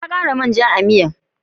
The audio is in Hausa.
Na kara man ja a'miyan.